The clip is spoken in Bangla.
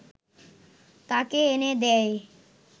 তাকে এনে দেয়